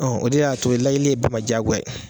Ɔ o de y'a to layɛli ye bɛɛ ma jagoya ye